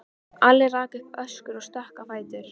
Yfir aðra hafinn, ekki síst útaf þessum sonum sínum.